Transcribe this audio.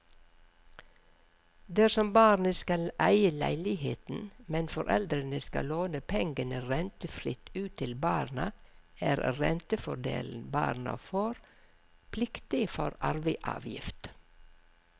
Dersom barnet skal eie leiligheten, men foreldrene skal låne pengene rentefritt ut til barna er rentefordelen barna får, pliktig for arveavgift.